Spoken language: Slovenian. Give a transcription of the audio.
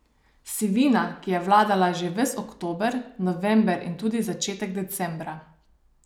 Sivina, ki je vladala že ves oktober, november in tudi začetek decembra.